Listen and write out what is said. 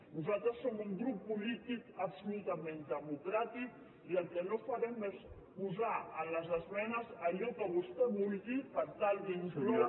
nosaltres som un grup polític absolutament democràtic i el que no farem és posar a les esmenes allò que vostè vulgui per tal d’incloure